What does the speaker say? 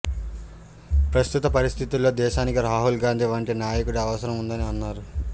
ప్రస్తుత పరిస్థితుల్లో దేశానికి రాహుల్ గాంధీ వంటి నాయకుడి అవసరం ఉందని అన్నారు